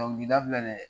Dɔnkilida filɛ nin ye